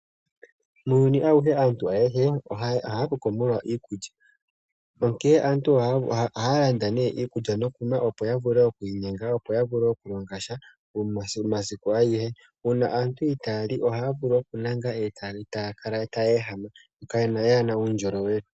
Muuyuni awuhe aantu ayehe ohaya koko molwa iikulya onke aantu oha ya landa iikulya niikunwa opo ya vule okwi inyenga noku longasha omasiku agehe. Una aantu ita ya li ohaya vulu oku nanga eta ya kala taya ehama noku kala ka yena uundjolowele.